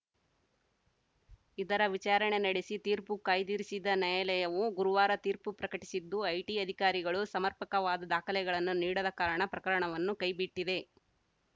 ಇದರ ವಿಚಾರಣೆ ನಡೆಸಿ ತೀರ್ಪು ಕಾಯ್ದಿರಿಸಿದ್ದ ನ್ಯಾಯಾಲಯವು ಗುರುವಾರ ತೀರ್ಪು ಪ್ರಕಟಿಸಿದ್ದು ಐಟಿ ಅಧಿಕಾರಿಗಳು ಸಮರ್ಪಕವಾದ ದಾಖಲೆಗಳನ್ನು ನೀಡದ ಕಾರಣ ಪ್ರಕರಣವನ್ನು ಕೈಬಿಟ್ಟಿದೆ